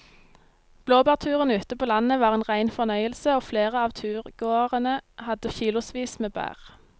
Blåbærturen ute på landet var en rein fornøyelse og flere av turgåerene hadde kilosvis med bær.